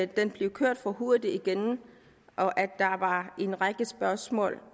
den blev kørt for hurtigt igennem og at der var en række spørgsmål